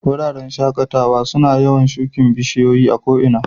Wuraren shakatawa suna yawan shukin bishiyoyi ko ina.